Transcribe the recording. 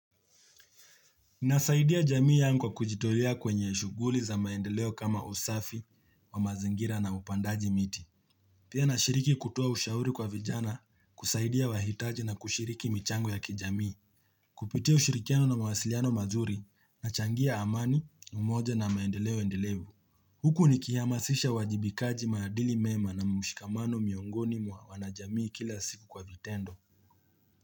Nasaidia jamii yangu kwa kujitolea kwenye shughuli za maendeleo kama usafi wa mazingira na upandaji miti. Pia nashiriki kutoa ushauri kwa vijana kusaidia wahitaji na kushiriki michango ya kijamii. Kupitia ushirikiano na mawasiliano mazuri na changia amani, umoja na maendeleo endelevu. Huku nikihama sisha wajibikaji maadili mema na mumushikamano miongoni mwa wana jamii kila siku kwa vitendo.